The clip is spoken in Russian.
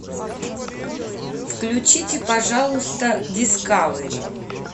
включите пожалуйста дискавери